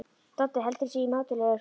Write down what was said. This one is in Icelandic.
Doddi heldur sig í mátulegri fjarlægð.